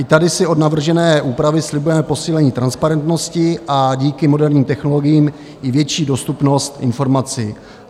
I tady si od navržené úpravy slibujeme posílení transparentnosti a díky moderním technologiím i větší dostupnost informací.